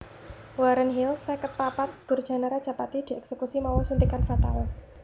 Warren Hill seket papat durjana rajapati dièksekusi mawa suntikan fatal